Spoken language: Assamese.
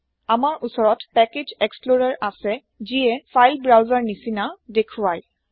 আমাৰ ওচৰত পেকেজ এক্সপ্লৰেৰ আছে যিয়ে ফাইল ব্ৰাউছাৰ ৰনিচিনাদেখুৱাই